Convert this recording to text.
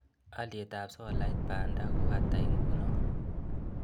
Alyetap solait panda ko ata ingunon